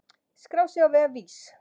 skrá sig á vef VÍS.